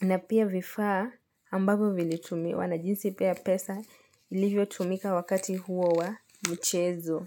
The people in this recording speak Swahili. na pia vifaa ambavo vilitumiwa na jinsi pia pesa ilivyo tumika wakati huo wa mchezo.